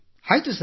ಆಯ್ತು ಸರ್